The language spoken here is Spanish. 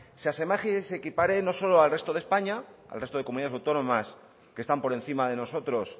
se asemeje y se equipare no solo al resto de españa al resto de comunidad autónomas que están por encima de nosotros